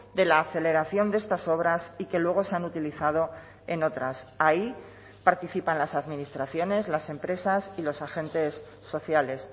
de la aceleración de estas obras y que luego se han utilizado en otras ahí participan las administraciones las empresas y los agentes sociales